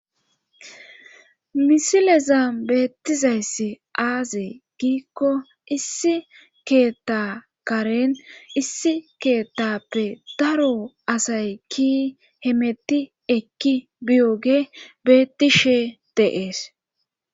misileza beettizayssi aaze giikko issi keeta karen issi keetappe daro asay ki hemetti ekki biyoge bettishe de'ees